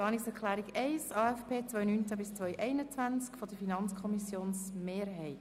Wir kommen zur Planungserklärung 1 der FiKo-Mehrheit betreffend den AFP 2019–2021.